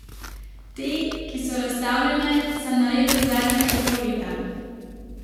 Te, ki so razstavljene, sem naredil v zadnjega pol leta.